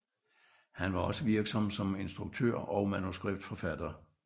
Han var også virksom som instruktør og manuskriptforfatter